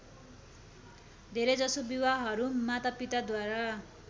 धेरैजसो विवाहहरू मातापिताद्वारा